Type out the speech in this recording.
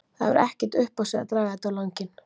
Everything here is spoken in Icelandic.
Það hefur ekkert upp á sig að draga þetta á langinn.